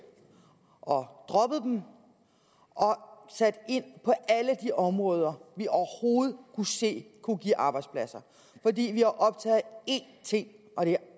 og og sat ind på alle de områder vi overhovedet kunne se kunne give arbejdspladser fordi vi er optaget af én ting og det er